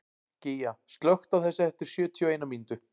Gígja, slökktu á þessu eftir sjötíu og eina mínútur.